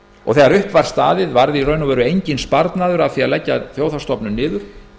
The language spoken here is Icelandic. og þegar upp var staðið varð enginn sparnaður af því að leggja þjóðhagsstofnun niður